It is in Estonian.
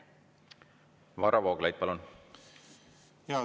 Varro Vooglaid, palun!